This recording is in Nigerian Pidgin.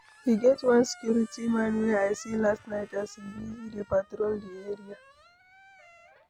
E get one security man wey I see last night as he busy dey patrol the area